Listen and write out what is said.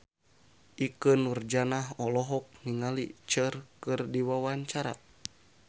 Ikke Nurjanah olohok ningali Cher keur diwawancara